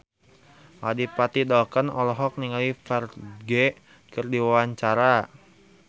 Adipati Dolken olohok ningali Ferdge keur diwawancara